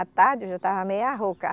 À tarde eu já estava meia rouca.